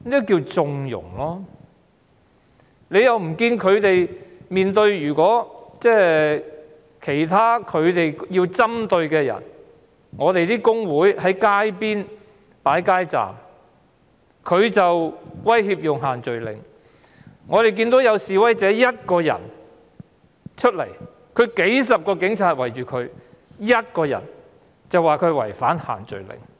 警隊要針對某些人，例如工會擺設街站，他們便說違反限聚令；我們看到有示威者獨自出來，卻被數十名警察包圍，他只是獨自一人而已，卻說他違反限聚令。